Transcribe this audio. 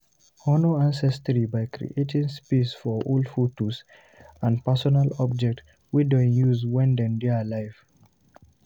Honor ancestry by creating space for old photos and personal objects wey dem use when dem dey alive